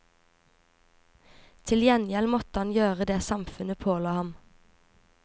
Til gjengjeld måtte han gjøre det samfunnet påla ham.